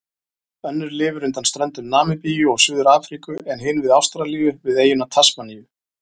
Önnur lifir undan ströndum Namibíu og Suður-Afríku en hin við Ástralíu, við eyjuna Tasmaníu.